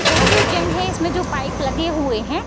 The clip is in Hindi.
यह जो जिम है उसमे जो पाइप लगे हुए है --